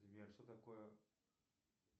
сбер что такое